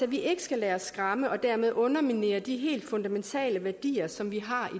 vi ikke skal lade os skræmme og dermed underminere de helt fundamentale værdier som vi har